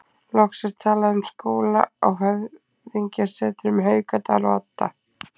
Loks er talað um skóla á höfðingjasetrunum Haukadal og Odda.